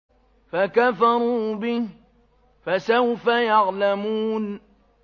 فَكَفَرُوا بِهِ ۖ فَسَوْفَ يَعْلَمُونَ